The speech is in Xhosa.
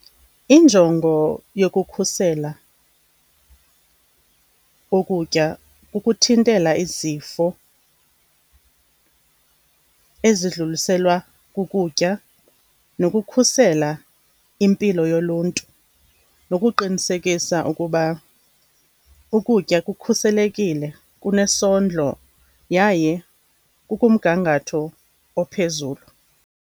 Injongo yokukhusela ukutya kukuthintela izifo ezidluliselwa kukutya nokukhusela impilo yoluntu, nokuqinisekisa ukuba ukutya kukhuselekile, kunesondlo yaye kukumgangatho ophezulu.